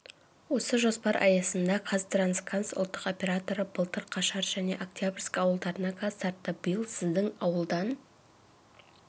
осы жоспар аясында қазтрансгаз ұлттық операторы былтыр қашар және октябрьский ауылдарына газ тартты биыл сіздің ауылдан